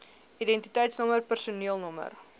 identiteitsnommer personeel nr